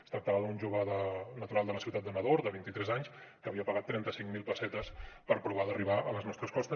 es tractava d’un jove natural de la ciutat de nador de vint i tres anys que havia pagat trenta cinc mil pessetes per provar d’arribar a les nostres costes